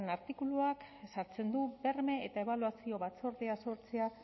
artikuluak ezartzen du berme eta ebaluazio batzordeaz sortzea